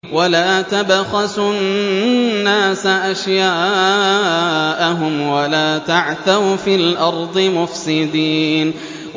وَلَا تَبْخَسُوا النَّاسَ أَشْيَاءَهُمْ وَلَا تَعْثَوْا فِي الْأَرْضِ مُفْسِدِينَ